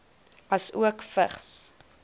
asook vigs